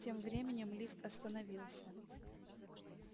тем временем лифт остановился